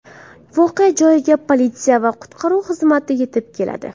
Voqea joyiga politsiya va qutqaruv xizmati yetib keladi.